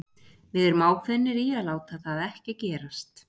Við erum ákveðnir í að láta það ekki gerast.